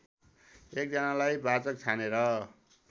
एकजनालाई वाचक छानेर